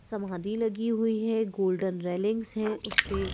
समाधि लगी हुई है गोल्डन रेलिंग्स हैं उस पे --